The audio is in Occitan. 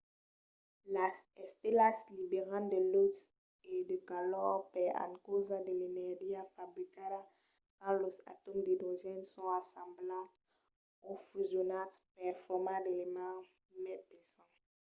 las estelas liberan de lutz e de calor per encausa de l'energia fabricada quand los atòms d'idrogèn son assemblats o fusionats per formar d'elements mai pesants